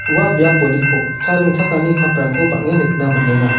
ua biaponiko cha ringchakani kap rangko bang·en nikna man·enga.